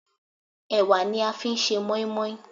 Ẹ̀wà ni a fi ń ṣe moin-moin.